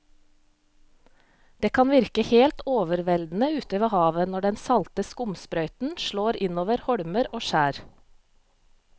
Det kan virke helt overveldende ute ved havet når den salte skumsprøyten slår innover holmer og skjær.